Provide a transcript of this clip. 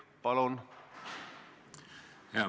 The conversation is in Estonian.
Palun!